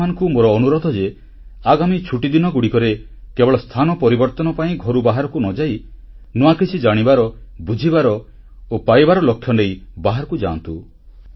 ଆପଣମାନଙ୍କୁ ମୋର ଅନୁରୋଧ ଯେ ଆଗାମୀ ଛୁଟିଦିନଗୁଡ଼ିକରେ କେବଳ ସ୍ଥାନ ପରିବର୍ତ୍ତନ ପାଇଁ ଘରୁ ବାହାରକୁ ନ ଯାଇ ନୂଆ କିଛି ଜାଣିବାର ବୁଝିବାର ଓ ପାଇବାର ଲକ୍ଷ୍ୟନେଇ ବାହାରକୁ ଯାଆନ୍ତୁ